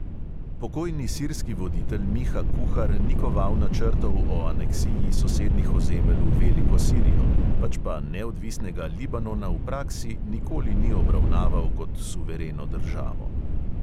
Pokojni sirski voditelj miha kuhar ni koval načrtov o aneksiji sosednjih ozemelj v veliko sirijo, pač pa neodvisnega libanona v praksi nikoli ni obravnaval kot suvereno državo.